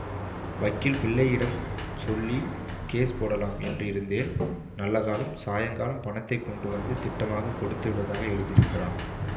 வக்கீல் பிள்ளையிடம் சொல்லி கேஸ் போடலாம் என்று இருந்தேன் நல்ல காலம் சாயங்காலம் பணத்தை கொண்டு வந்து திட்டமாகக் கொடுத்து விடுவதாக எழுதியிருக்கிறான்